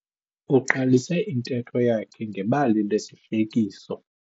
Uqalise intetho yakhe ngebali lesihlekiso.